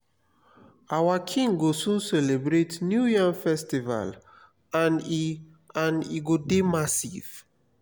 our king go soon celebrate new yam festival and e and e go dey massive